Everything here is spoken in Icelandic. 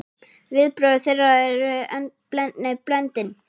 Viðbrögð þeirra eru blendin.